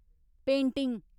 painting